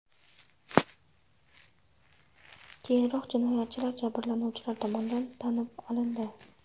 Keyinroq jinoyatchilar jabrlanuvchilar tomonidan tanib olindi.